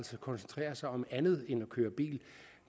koncentrerer sig om andet end at køre bil